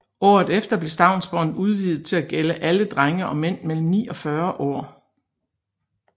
Året efter blev stavnsbåndet udvidet til at gælde alle drenge og mænd mellem ni og 40 år